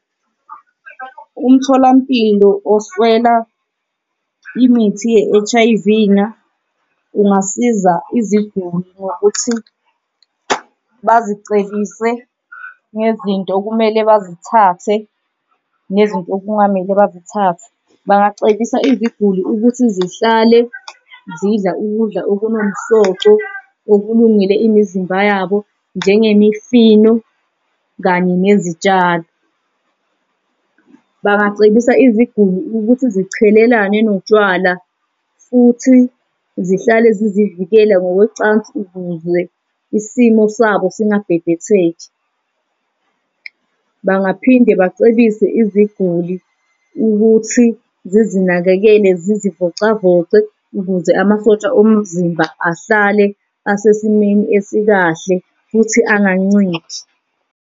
Umtholampilo oswela imithi ye-H_I_V-na ungasiza iziguli ngokuthi bazicebise nezinto okumele bazithathe nezinto okungamele bazithathe. Bangacebisa iziguli ukuthi zihlale zidla ukudla okunomsoco okulungele imizimba yabo, njengemifino kanye nezitshalo. Bangacebisa iziguli ukuthi zichelelane notshwala, futhi zihlale zizivikele ngokocansi ukuze isimo sabo singabhebhetheki. Bangaphinde bacebise iziguli ukuthi zizinakekele zizivocavoce ukuze amasosha omzimba ahlale asesimeni esikahle futhi anganciphi.